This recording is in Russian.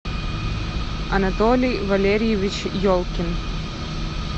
анатолий валерьевич елкин